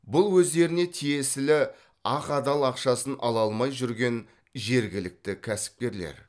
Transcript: бұл өздеріне тиесілі ақ адал ақшасын ала алмай жүрген жергілікті кәсіпкерлер